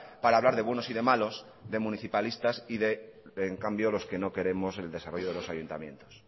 para hablar de buenos y de malos de municipalistas y de en cambio los que no queremos el desarrollo de los ayuntamientos